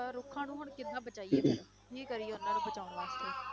ਅਹ ਰੁੱਖਾਂ ਨੂੰ ਹੁਣ ਕਿੱਦਾਂ ਬਚਾਈਏ ਕੀ ਕਰੀਏ ਉਹਨਾਂ ਨੂੰ ਬਚਾਉਣ ਵਾਸਤੇ